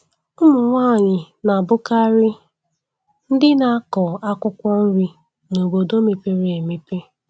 Ụmụnwanyị na-abukarị ndị na-akọ akwụkwọ nri n' obodo mepere emepe